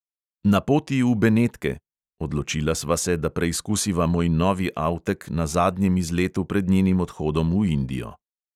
Na poti v benetke (odločila sva se, da preizkusiva moj novi avtek na zadnjem izletu pred njenim odhodom v indijo).